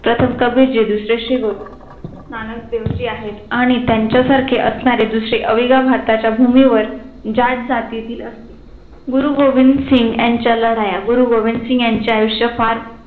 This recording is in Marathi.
प्रथम कबीर दुसरे श्री गुरु नानक देवजी आहेत आणि त्यांच्या सारखे असणारे दुसरे अवग्या भारताच्या भूमीवर जाट जातीतील असतील गुरु गोविंद सिंग यांच्या लढाया गुरु गोबिंदसिंघ यांचे आयुष्य फार